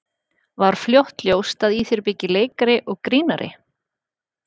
Var fljótt ljóst að í þér byggi leikari og grínari?